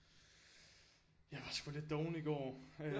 Jeg var sgu lidt doven i går